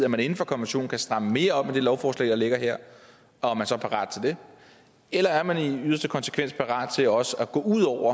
at man inden for konventionen kan stramme mere op med det lovforslag der ligger her og er man så parat til det eller er man i yderste konsekvens parat til også at gå ud over